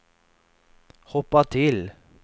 hoppa till